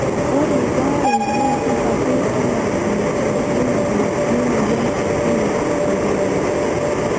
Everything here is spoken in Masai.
Ore baree na kebaki enaa enetiu ibulabul lemoyian ekila oltungani.